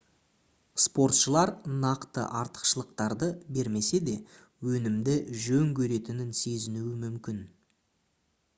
спортшылар нақты артықшылықтарды бермесе де өнімді жөн көретінін сезінуі мүмкін